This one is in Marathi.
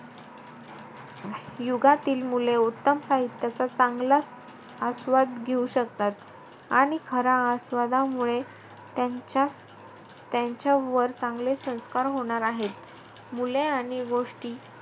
युगातील मुले उत्तम साहित्याचा चांगलाचं आस्वाद घेऊ शकतात. आणि खऱ्या आस्वादामुळे त्यांच्यात~ त्यांच्यावर चांगले संस्कार होणार आहेत.